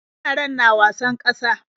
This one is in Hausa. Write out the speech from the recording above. Yaran na wasan ƙasa.